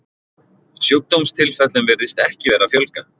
sjúkdómstilfellum virðist ekki vera að fjölga